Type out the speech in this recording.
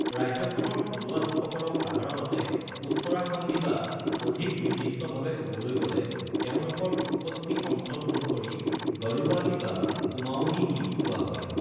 ৰাজ্যখনৰ থলুৱা লোকসকলক সাধাৰণতে উত্তৰাখণ্ডী বা অধিক নিৰ্দিষ্টভাৱে ক’বলৈ গ’লে তেওঁলোকৰ উৎপত্তি অঞ্চল অনুসৰি গড়ৱালি বা কুমাওনী বুলি কোৱা হয়।